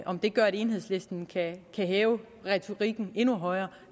om det gør at enhedslisten kan hæve retorikken endnu højere